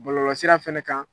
Bɔlɔlɔsira fɛnɛ kan